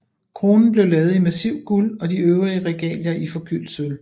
Kronen ble laget i massivt guld og de øvrige regalier i forgyldt sølv